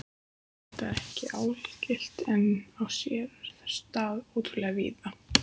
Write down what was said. Þetta er ekki algilt en á sér stað ótrúlega víða.